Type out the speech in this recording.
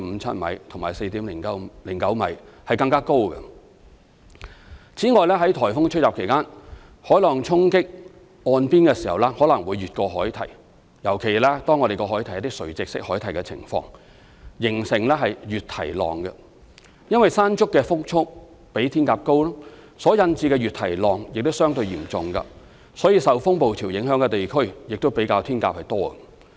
此外，在颱風吹襲期間，海浪沖擊岸邊時可能會越過海堤，形成"越堤浪"。因為"山竹"的風速比"天鴿"高，所引致的越堤浪也相對嚴重，所以受風暴潮影響的地區也較"天鴿"多。